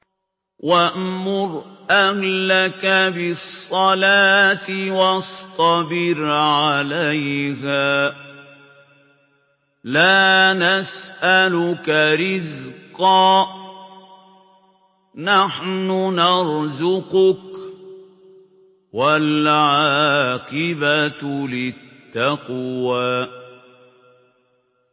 وَأْمُرْ أَهْلَكَ بِالصَّلَاةِ وَاصْطَبِرْ عَلَيْهَا ۖ لَا نَسْأَلُكَ رِزْقًا ۖ نَّحْنُ نَرْزُقُكَ ۗ وَالْعَاقِبَةُ لِلتَّقْوَىٰ